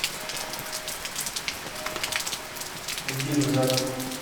найди ржаку